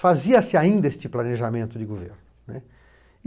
Fazia-se ainda este planejamento de governo, né.